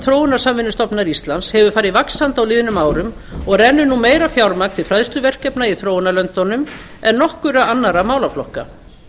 þróunarsamvinnustofnunar íslands hefur farið vaxandi á liðnum árum og rennur nú meira fjármagn til fræðsluverkefna í þróunarlöndunum en nokkurra annarra málaflokka